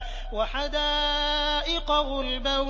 وَحَدَائِقَ غُلْبًا